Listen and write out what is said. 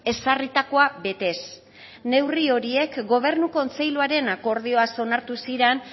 ezarritakoa betez neurri horiek gobernu kontseiluaren akordioaz onartu ziren